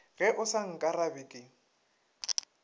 ge o sa nkarabe ke